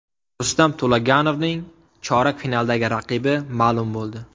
Rustam To‘laganovning chorak finaldagi raqibi ma’lum bo‘ldi.